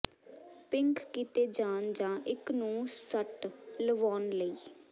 pink ਕੀਤੇ ਜਾਣ ਜਾਂ ਇੱਕ ਨੂੰ ਸੱਟ ਲਵਾਉਣ ਲਈ